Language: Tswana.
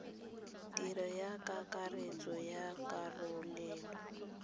tiro ya kakaretso ya karolelo